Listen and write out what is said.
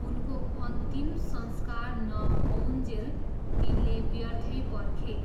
उनको अन्तिम संस्कार नहोउन्जेल तिनले व्यर्थै पर्खे।